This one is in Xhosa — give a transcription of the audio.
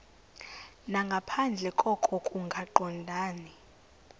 nangaphandle koko kungaqondani